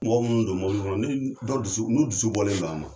N bɛ mɔgɔ minnu don mɔbili kɔnɔ, ni dɔ dusu ni dusu bɔlen don a ma.